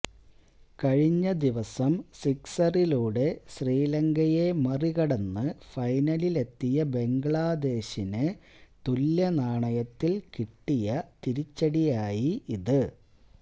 കഴിഞ്ഞ ദിവസം സിക്സറിലൂടെ ശ്രീലങ്കയെ മറികടന്ന് ഫൈനലിലെത്തിയ ബംഗ്ലാദേശിന് തുല്യനാണയത്തിൽ കിട്ടിയ തിരിച്ചടിയായി ഇത്